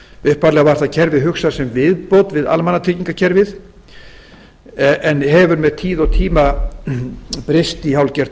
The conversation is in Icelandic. upphaflega var það kerfi hugsað sem viðbót við almannatryggingakerfið en hefur með tíð og tíma breyst í hálfgert